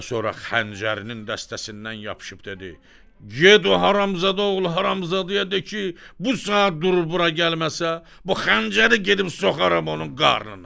Və sonra xəncərinin dəstəsindən yapışıb dedi: "Get o haramzada oğlu haramzadəyə de ki, bu saat durub bura gəlməsə, bu xəncəri gedib soxaram onun qarnına!"